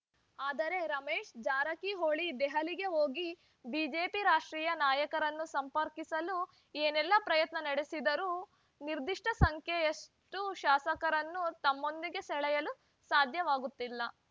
ಆದರೆ ರಮೇಶ್‌ ಜಾರಕಿಹೊಳಿ ದೆಹಲಿಗೆ ಹೋಗಿ ಬಿಜೆಪಿ ರಾಷ್ಟ್ರೀಯ ನಾಯಕರನ್ನು ಸಂಪರ್ಕಿಸಲು ಏನೆಲ್ಲ ಪ್ರಯತ್ನ ನಡೆಸಿದರೂ ನಿರ್ದಿಷ್ಟಸಂಖ್ಯೆಯಷ್ಟುಶಾಸಕರನ್ನು ತಮ್ಮೊಂದಿಗೆ ಸೆಳೆಯಲು ಸಾಧ್ಯವಾಗುತ್ತಿಲ್ಲ